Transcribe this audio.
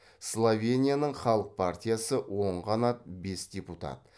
словенияның халық партиясы оң қанат бес депутат